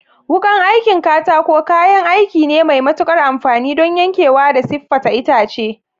Wukan aikin katako kayan aiki ne mai matuƙar amfani don yankewa da siffata itace.